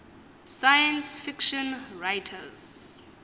science fiction writers